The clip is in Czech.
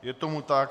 Je tomu tak.